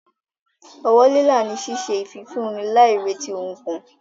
Ọwọ́ lílà ni ṣíṣe ìfifúnni láì retí ohun kan.